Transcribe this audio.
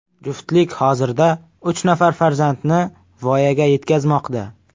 Juftlik hozirda uch nafar farzandni voyaga yetkazmoqda.